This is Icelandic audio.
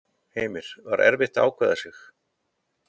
Heimir: Var erfitt að ákveða sig?